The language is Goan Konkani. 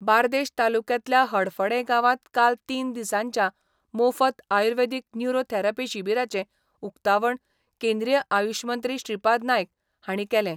बार्देश तालुक्यांतल्या हडफडें गांवात काल तीन दिसांच्या मोफत आयुर्वेदीक न्युरो थेरपी शिबीराचें उक्तावण केंद्रीय आयुष मंत्री श्रीपाद नायक हांणी केलें.